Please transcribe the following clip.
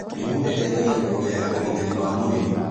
Ndimũ ĩteithagia kuongerera ũgitĩri wa mwĩrĩ